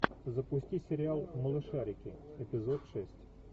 запусти сериал малышарики эпизод шесть